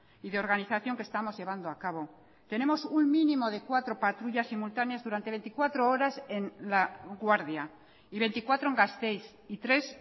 y de organización que estamos llevando a cabo tenemos un mínimo de cuatro patrullas simultáneas durante veinticuatro horas en laguardia y veinticuatro en gasteiz y tres